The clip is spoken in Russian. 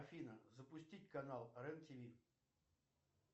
афина запустить канал рен тв